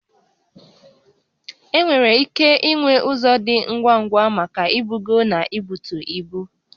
Enwere ike inwe ụzọ dị ngwa ngwa maka ibugo na ibutu ibu